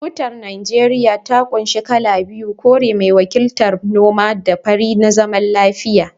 Tutar Najeriya ta kunshi kala biyu, kore mai wakiltar noma da fari na zaman lafiya